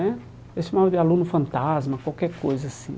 Né Eu chamava de aluno fantasma, qualquer coisa assim.